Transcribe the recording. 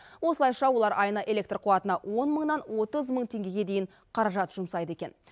осылайша олар айына электр қуатына он мыңнан отыз мың теңгеге дейін қаражат жұмсайды екен